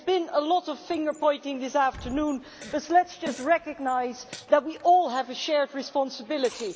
There has been a lot of finger pointing this afternoon, but let us just recognise that we all have a shared responsibility